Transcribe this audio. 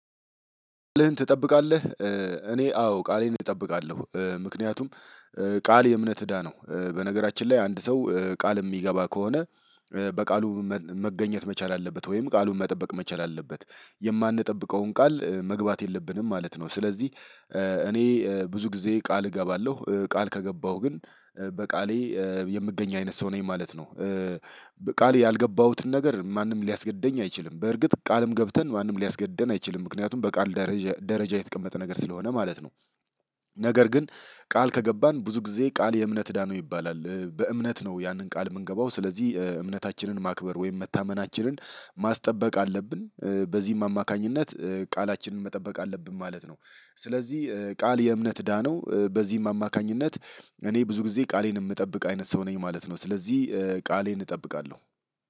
ትጠብቃለህ እኔ አዎ ቃሌን እጠብቃለሁ። ምክንያቱም ቃል የእምነት እዳ ነው። በነገራችን ላይ አንድ ሰው ቃል የሚገባ ከሆነ። በቃሉ መገኘት መቻል አለበት ወይም ቃሉን መጠበቅ መቻል አለበት የማንጠብቀውን ቃል መግባት የለብንም ማለት ነው። ስለዚህ እኔ ብዙ ጊዜ ቃል እገባለሁ ቃል ከገባሁ ግን በቃሌ የምገኝ አይነት ሰው ነኝ ማለት ነው። ቃል ያልገባሁትን ነገር ማንም ሊያስገድደኝ አይችልም። በእርግጥ ቃልም ገብተን ማንም ሊያስገድደን አይችልም ምክንያቱም በቃል ደረጃ የተቀመጠ ነገር ስለሆነ ማለት ነው። ነገር ግን ቃል ከገባን ብዙ ጊዜ ቃል የእምነት እዳ ነው ይባላል። በእምነት ነው ያንን ቃል የምንገባው ስለዚህ እምነታችንን ማክበር ወይም መታመናችንን ማስጠበቅ አለብን። በዚህም አማካኝነት ቃላችንን መጠበቅ አለብን ማለት ነው። ስለዚህ ቃል የእምነት እዳ ነው በዚህም አማካኝነት እኔ ብዙ ጊዜ ቃሌን የምጠብቅ አይነት ሰው ነኝ ማለት ነው። ስለዚህ ቃሌን እጠብቃለሁ።